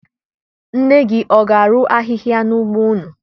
Nne gị ọ ga-arụ ahịhịa n'ugbo unu?